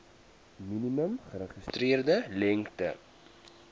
minimum geregistreerde lengte